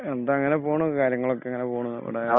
എന്താ അങ്ങനെ പോണു കാര്യങ്ങളൊക്കങ്ങനെ പോണു അവടെ